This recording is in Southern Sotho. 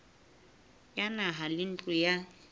ya naha le ntlo ya